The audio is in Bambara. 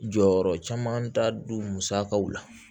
Jɔyɔrɔ caman ta don musakaw la